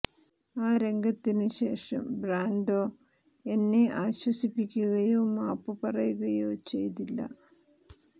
ആ രംഗത്തിന് ശേഷം ബ്രാൻഡോ എന്നെ ആശ്വസിപ്പിക്കുകയോ മാപ്പ് പറയുകയോ ചെയ്തില്ല